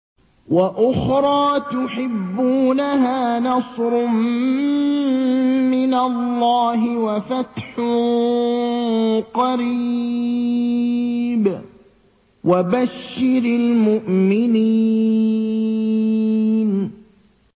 وَأُخْرَىٰ تُحِبُّونَهَا ۖ نَصْرٌ مِّنَ اللَّهِ وَفَتْحٌ قَرِيبٌ ۗ وَبَشِّرِ الْمُؤْمِنِينَ